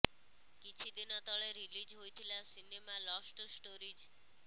କିଛି ଦିନ ତଳେ ରିଲିଜ୍ ହୋଇଥିଲା ସିନେମା ଲଷ୍ଟ ଷ୍ଟୋରିଜ୍